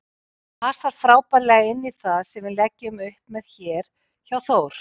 Hann passar frábærlega inní það sem við leggjum upp með hér hjá Þór.